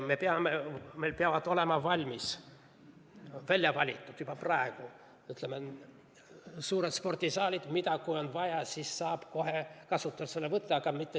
Meil peavad olema valmis, välja valitud juba praegu suured spordisaalid, mille saab vajaduse korral kohe kasutusele võtta.